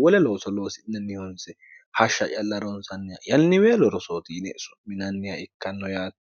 wole looso loosinannihonse hashsha yalla ronsanniha yanniweelo rosootiine su'minanniha ikkanno yaatti